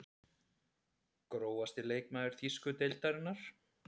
Grófasti leikmaður þýsku deildarinnar?